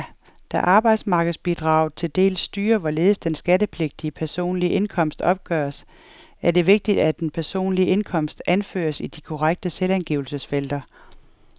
Da arbejdsmarkedsbidraget til dels styrer, hvorledes den skattepligtige personlige indkomst opgøres, er det vigtigt, at den personlige indkomst anføres i de korrekte selvangivelsesfelter.